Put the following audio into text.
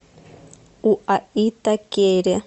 уаитакере